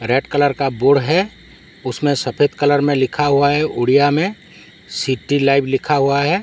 Red colour का बुड़ है उसमे सफेद कलर मे लिखा हुआ है उड़िया मे सिटी लाइव लिखा हुआ है।